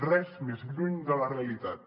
res més lluny de la realitat